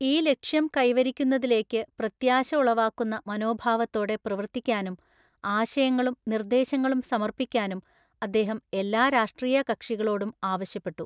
ഈ ലക്ഷ്യംകൈവരിക്കുന്നതിലേയ്ക്ക്പ്രത്യാശഉളവാക്കുന്ന മനോഭാവത്തോടെ പ്രവര്ത്തിക്കാനും ആശയങ്ങളും, നിര്ദ്ദേശങ്ങളുംസമര്പ്പിക്കാനും അദ്ദേഹംഎല്ലാരാഷ്ട്രീയ കക്ഷികളോടുംആവശ്യപ്പെട്ടു.